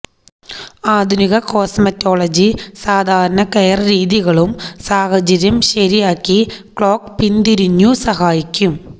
ആധുനിക കോസ്മറ്റോളജി സാധാരണ കെയർ രീതികളും സാഹചര്യം ശരിയാക്കി ക്ലോക്ക് പിന്തിരിഞ്ഞു സഹായിക്കും